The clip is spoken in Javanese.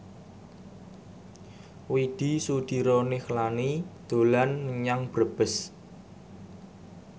Widy Soediro Nichlany dolan menyang Brebes